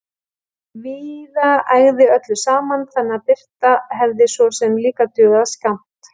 Víða ægði öllu saman, þannig að birta hefði svo sem líka dugað skammt.